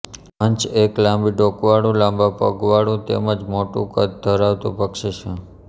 હંસ એક લાંબી ડોકવાળું લાંબા પગવાળું તેમ જ મોટું કદ ધરાવતું પક્ષી છે